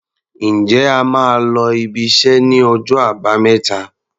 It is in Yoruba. Ǹjẹ́ ẹ máa lọ ibiṣẹ́ ní ọjọ́ Àbámẹ́ta?